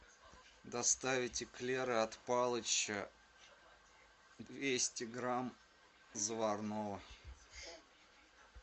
доставить эклеры от палыча двести грамм заварного